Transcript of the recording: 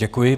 Děkuji.